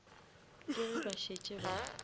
ke ge ba šetše ba